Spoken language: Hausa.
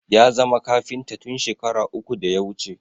Ya zama kafinta tun shekara uku da ya wuce